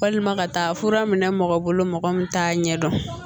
Walima ka taa fura minɛ mɔgɔ bolo mɔgɔ min t'a ɲɛdɔn